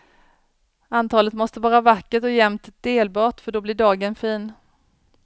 Antalet måste vara vackert och jämnt delbart, för då blir dagen fin.